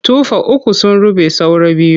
Tufa uku sun ruɓe saura biyu.